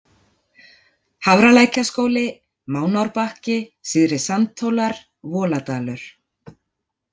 Hafralækjarskóli, Mánárbakki, Syðri-Sandhólar, Voladalur